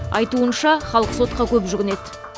айтуынша халық сотқа көп жүгінеді